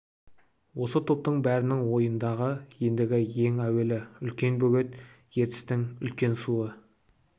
осы топтың бәрінің ойындағы ендігі ең әуелгі үлкен бөгет ертістің үлкен суы